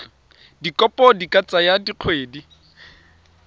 dikopo di ka tsaya dikgwedi